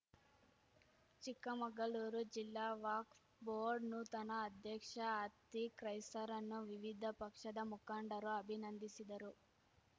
ಚಿಕ್ಕಮಗಳೂರು ಜಿಲ್ಲಾ ವಕ್ಫ್ ಬೋರ್ಡ್‌ ನೂತನ ಅಧ್ಯಕ್ಷ ಅತೀಕ್‌ ಖೈಸರ್‌ರನ್ನು ವಿವಿಧ ಪಕ್ಷದ ಮುಖಂಡರು ಅಭಿನಂದಿಸಿದರು